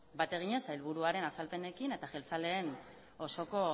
bat eginez sailburuaren azalpenekin eta jeltzaleen osoko